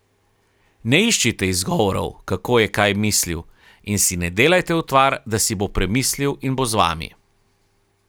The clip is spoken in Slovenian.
Ne iščite izgovorov, kako je kaj mislil, in si ne delajte utvar, da si bo premislil in bo z vami.